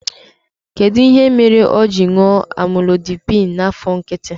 Kedụ ihe mere o ji ṅụọ Amlodipịn n'afọ nkịtị?